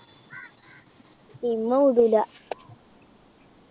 ഇമ്മ വിടൂല.